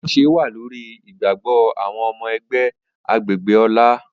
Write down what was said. Atunṣe wa lori igbagbọ awọn ọmọ ẹgbẹ agbegbe Ola.